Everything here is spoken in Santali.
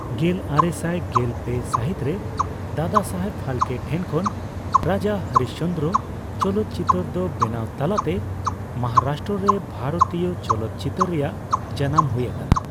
ᱜᱮᱞᱟᱨᱮᱥᱟᱭ ᱜᱮᱞ ᱯᱮ ᱥᱟᱹᱦᱤᱛ ᱨᱮ ᱫᱟᱫᱟᱥᱟᱦᱮᱵ ᱯᱷᱟᱞᱠᱮ ᱴᱷᱮᱱᱠᱷᱚᱱ 'ᱨᱟᱡᱟ ᱦᱚᱨᱤᱥᱪᱚᱱᱫᱨᱚ' ᱪᱚᱞᱚᱛ ᱪᱤᱛᱟᱹᱨ ᱫᱚ ᱵᱮᱱᱟᱣ ᱛᱟᱞᱟᱛᱮ ᱢᱚᱦᱟᱨᱟᱥᱴᱨᱚ ᱨᱮ ᱵᱷᱟᱨᱚᱛᱤᱭᱚ ᱪᱚᱞᱚᱛ ᱪᱤᱛᱟᱹᱨ ᱨᱮᱭᱟᱜ ᱡᱟᱱᱟᱢ ᱦᱩᱭ ᱟᱠᱟᱱᱟ ᱾